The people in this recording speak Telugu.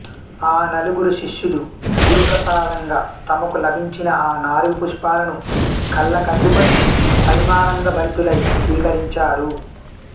ఆ నలుగురు శిష్యులు గురుప్రసాదంగా తమకు లభించిన ఆ నాలుగు పుష్పాలను కళ్ళకద్ధుకుని పరమానందభరితులై స్వీకరించారు